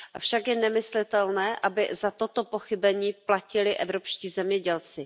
Avšak je nemyslitelné, aby za toto pochybení platili evropští zemědělci.